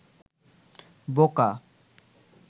বোকা